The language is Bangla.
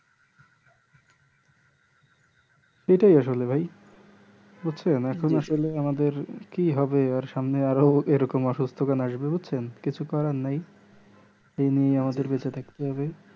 ই আসলে ভাইবুজছেন এখন আসলে আমাদের কি হবে আর সামনে এরকম আসবে বুজছেন কিছু করার নেই এই নিয়ে আমাদের বেঁচে থাকতে হবে